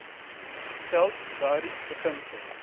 geld daardie beginsel